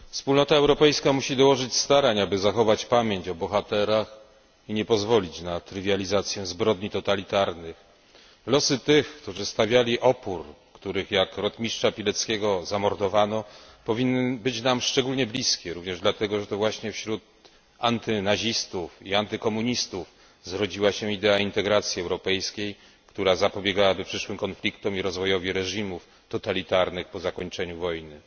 Wspólnota Europejska musi dołożyć starań, aby zachować pamięć o bohaterach i nie pozwolić na trywializację zbrodni totalitarnych. Losy tych, którzy stawiali opór, których, jak rotmistrza Pileckiego, zamordowano powinny być nam szczególnie bliskie, również dlatego, że to właśnie wśród antynazistów i antykomunistów zrodziła się idea integracji europejskiej, która zapobiegałaby przyszłym konfliktom i rozwojowi reżimów totalitarnych po zakończeniu wojny.